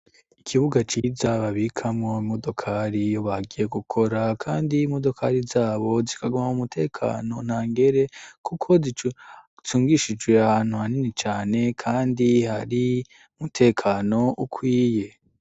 Ikibuga ciza babikamwo imodokari iyo bagiye gukora kandi imodokari zabo zikaguma mu mutekano nta ngere kuko zicungishijwe ahantu hanini cane kandi hari umutekano ukwiye.